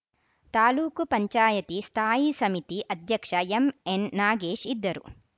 ತಾಲೂಕ್ ಪಂಚಾಯತ್ ಸ್ಥಾಯಿ ಸಮಿತಿ ಅಧ್ಯಕ್ಷ ಎಂಎನ್‌ನಾಗೇಶ್‌ ಇದ್ದರು